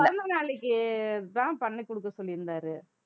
பிறந்த நாளைக்கு தான் பண்ணி குடுக்க சொல்லி இருந்தாரு